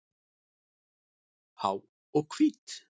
Há og hvít.